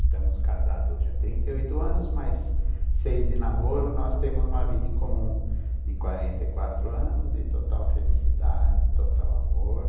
Estamos casados hoje há trinta e oito anos, mas seis de namoro, nós temos uma vida em comum de quarenta e quatro anos, de total felicidade, total amor.